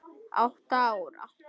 Átta ára